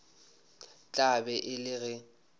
tla be e le ge